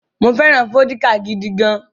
Mo fẹ́ràn vódíkà gidi gan-an.